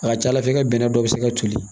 A ka ca ala fɛ i ka bɛnɛ dɔ bɛ se ka toli